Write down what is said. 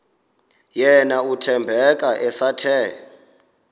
yena uthembeka esathe